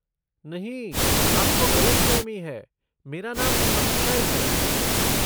नहीं, आपको गलतफहमी है, मेरा नाम अक्षय है।